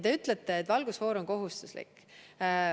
Te ütlete, et valgusfoor on kohustuslik.